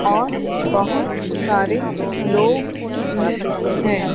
और बहुत सारे लोग भी हैं।